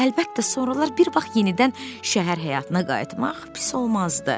Həlbəttə, sonralar bir vaxt yenidən şəhər həyatına qayıtmaq pis olmazdı.